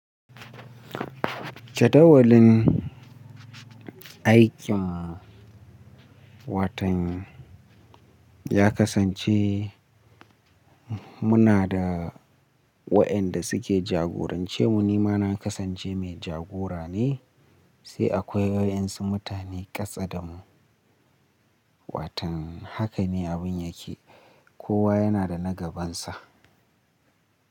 Jadawalin aikin watan ya kasance muna da waɗanda suke jagorance mu. Nima na kasance mai jagora ne sai akwai waɗansu mutane katse da mu. Watan haka ne abun yake, kowa yana da na gabansa.